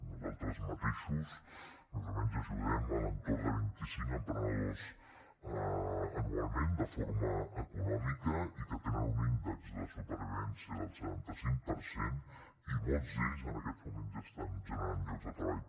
nosaltres mateixos més o menys ajudem a l’entorn de vint i cinc emprenedors anualment de forma econòmica i que tenen un índex de supervivència del setanta cinc per cent i molts d’ells en aquests moments ja estan generant llocs de treball